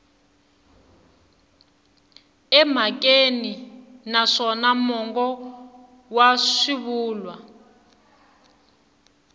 emhakeni naswona mongo wa swivulwa